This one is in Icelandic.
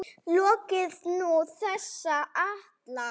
Lokið er nú þessi ætlan.